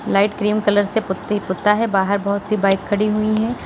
Light cream colour से putty पुता है बाहर बहोत सी बाइक खड़ी हुई हैं।